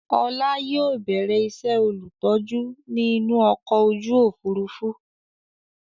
Ọlá yìí ó bẹ̀rẹ̀ ìṣe olùtọ́jú ni inú ọkọ̀ ojú Òfurufú